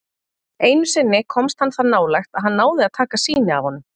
Einu sinni komst hann það nálægt að hann náði að taka sýni af honum.